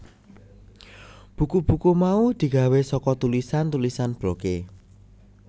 Buku buku mau digawé saka tulisan tulisan blogé